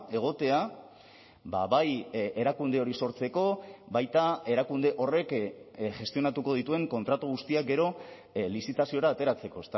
egotea bai erakunde hori sortzeko baita erakunde horrek gestionatuko dituen kontratu guztiak gero lizitaziora ateratzeko